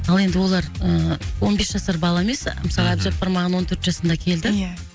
ал енді олар ы он бес жасар бала емес мхм мысалы әбжаппар маған он төрт жасында келді ия